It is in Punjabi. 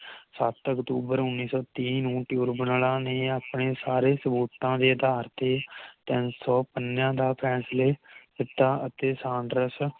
ਸਤ ਅਕਤੂਬਰ ਉਨ੍ਹੀ ਸੌ ਤੀਹ ਨੂੰ ਟਿਊਰਬਨਲਾ ਨੇ ਆਪਣੇ ਸਾਰੇ ਸਬੂਤਾਂ ਦੇ ਅਧਾਰ ਤੇ ਤਿੰਨ ਸੌ ਪੰਨਿਆਂ ਦਾ ਫੈਸਲੇ ਕੀਤਾ ਅਤੇ ਸਾਂਡਰਸ